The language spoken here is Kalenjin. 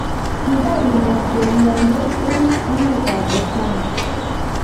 kibar ileet belyondee eng emetab Botswana